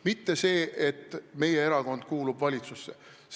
Mitte see, et meie erakond kuulub valitsusse.